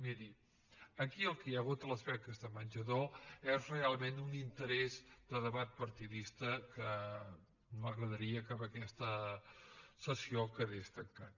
miri aquí el que hi ha hagut a les beques de menjador és realment un interès de debat partidista que m’agradaria que amb aquesta sessió quedés tancat